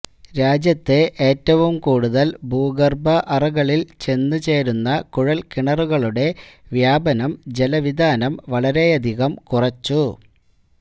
രാജ്യത്തെ ഏറ്റവും കൂടുതൽ ഭൂഗർഭ അറകളിൽ ചെന്ന്ചേരുന്ന കുഴൽ കിണറുകളുടെ വ്യാപനം ജല വിതാനം വളരെയധികം കുറച്ചു